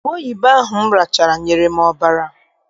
Ubeoyibo ahụ m rachala nyere m ọbara.